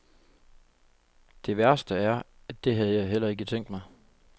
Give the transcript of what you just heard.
Det værste er, at det havde jeg heller ikke tænkt mig.